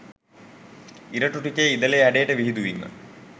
ඉරටු ටික ඉදලේ හැඩයට විහිදුවීම